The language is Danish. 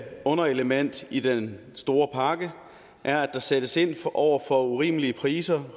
underelement i den store pakke er at der sættes ind over for urimelige priser